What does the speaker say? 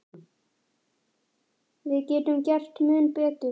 Við getum gert mun betur.